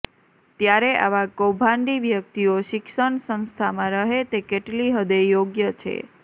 ત્યારે આવા કૌભાંડી વ્યક્તિઓ શિક્ષણ સંસ્થામાં રહે તે કેટલી હદે યોગ્ય છે